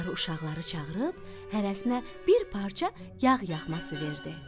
Qarı uşaqları çağırıb hərəsinə bir parça yağ yağması verdi.